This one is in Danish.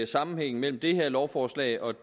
sammenhængen mellem det her lovforslag og